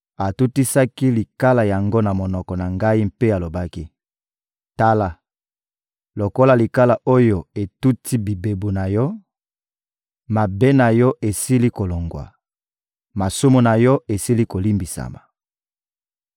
atutisaki likala yango na monoko na ngai mpe alobaki: «Tala, lokola likala oyo etuti bibebu na yo, mabe na yo esili kolongwa, masumu na yo esili kolimbisama.»